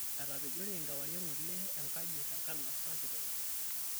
Etapejori enkewarie eng'ole enkaji tenkansa kitok